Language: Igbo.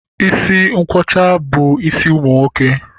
Isi nkwọcha bụ isi nwoke